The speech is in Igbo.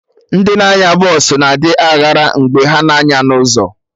Ndị na-anya bọsụ na adị aghara mgbe ha na-anya na ụzọ